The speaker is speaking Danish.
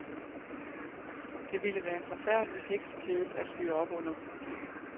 Det ville være en forfærdelig heksekedel at fyre op under.